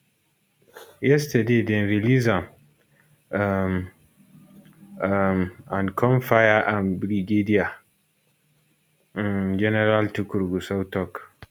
yesterday dem release am um um and come fire am brigadier um general tukur gusau tok